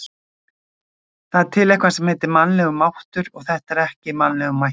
Það er til eitthvað sem heitir mannlegur máttur, og þetta var ekki í mannlegum mætti.